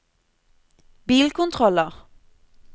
bilkontroller